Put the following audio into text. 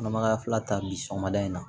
Kɔnɔmaya fila ta bi sɔgɔmada in na